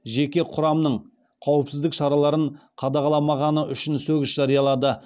жеке құрамның қауіпсіздік шараларын қадағаламағаны үшін сөгіс жариялады